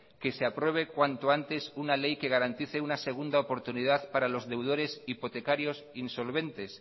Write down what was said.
que se apruebe cuanto antes una ley que garantice una segunda oportunidad para los deudores hipotecarios insolventes